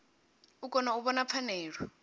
u kona u vhona pfanelo